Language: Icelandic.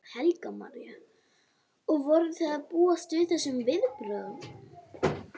Helga María: Og voruð þið að búast við þessum viðbrögðum?